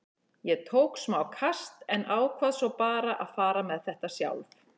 Ég tók smá kast en ákvað svo bara að fara með þetta sjálf.